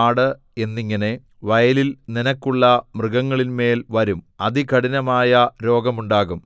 ആട് എന്നിങ്ങനെ വയലിൽ നിനക്കുള്ള മൃഗങ്ങളിന്മേൽ വരും അതികഠിനമായ രോഗമുണ്ടാകും